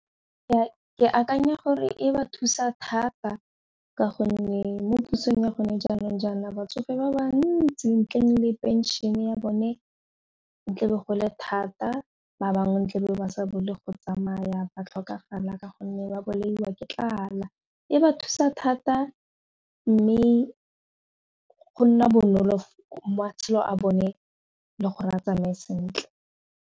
Ke akanya gore e ba thusa thata ka gonne mo pusong ya gone jaanong jaana batsofe ba ba ntsi ntleng le pension ya bone e tlebe gole thata ba bangwe ko ntle ba bo le go tsamaya ba tlhokafala ka gonne ba bolaiwa ke tlala, e ba thusa thata mme go nna bonolo matshelo a bone le gore a tsamae sentle.